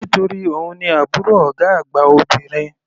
Nítorí òun ni àbúrò ọ̀gá àgbà obìnrin.